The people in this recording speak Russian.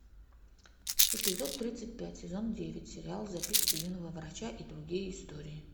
эпизод тридцать пять сезон девять сериал записки юного врача и другие истории